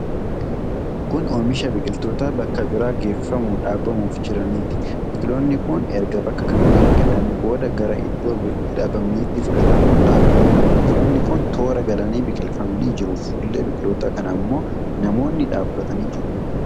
Kun oomisha biqiloota bakka biraa geeffamuun dhaabamuuf jiraniiti. Biqiloonni kun erga bakka kanatti biqilanii booda gara iddoo itti dhaabamaniitti fudhatamuun dhaabamu. Biqiloonni kun toora galanii biqilfamanii jiru. Fuullee biqiloota kana ammoo namoonni dhaabbatanii jiru.